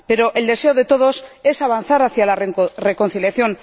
Pero el deseo de todos es avanzar hacia la reconciliación.